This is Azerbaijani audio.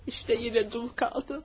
İşte yine dul kaldım.